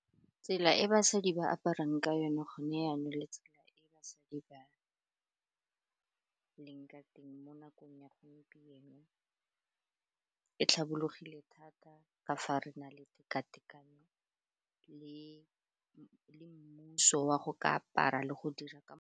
Tsela e basadi ba aparang ka yone gone jaanong le tsela e basadi ba leng ka teng mo nakong ya gompieno, e tlhabologile thata ka fa re na le teka-tekano le mmuso wa go ka apara le go dira ka .